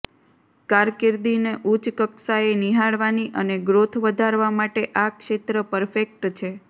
કારકિર્દીને ઉચ્ચ કક્ષાએ નિહાળવાની અને ગ્રોથ વધારવા માટે આ ક્ષેત્ર પરફેક્ટ છે